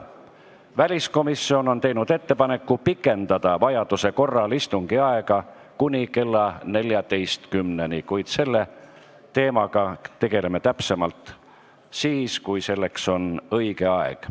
Väliskomisjon on teinud ettepaneku pikendada vajaduse korral istungi aega kuni kella 14-ni, kuid selle teemaga tegeleme täpsemalt siis, kui selleks on õige aeg.